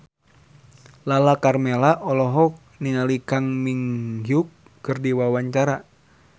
Lala Karmela olohok ningali Kang Min Hyuk keur diwawancara